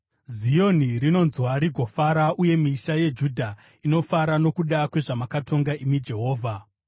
Zioni rinonzwa rigofara uye misha yeJudha inofara nokuda kwezvamakatonga, imi Jehovha.